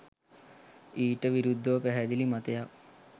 ඊට විරුද්ධව පැහැදිලි මතයක්